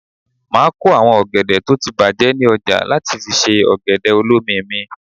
Máa kó àwọn ọ̀gẹ̀dẹ̀ tó ti bàjé ní ọjà láti fi ṣe ọ̀gẹ̀dẹ̀ olómi mi.